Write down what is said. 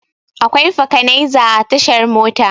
Akwai fakanaiza a tashar Mota.